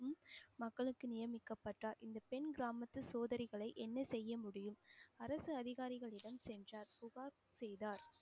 மக்களுக்கு நியமிக்கப்பட்ட இந்தப் பெண் கிராமத்து சோதனைகளை, என்ன செய்ய முடியும் அரசு அதிகாரிகளிடம் சென்றார். புகார் செய்தார்